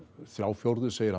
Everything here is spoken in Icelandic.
þrjá fjórðu segir